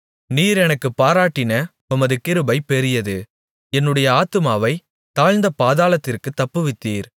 நீர் எனக்குப் பாராட்டின உமது கிருபை பெரியது என்னுடைய ஆத்துமாவைத் தாழ்ந்த பாதாளத்திற்குத் தப்புவித்தீர்